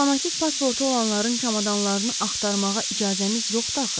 Diplomatik pasportu olanların çamadanlarını axtarmağa icazəmiz yoxdur.